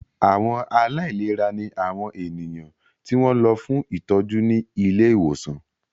Àwọn aláìlera ní àwọn ènìyàn tí wọ́n lọ fún ìtọ́jú ní ilé ìwòsàn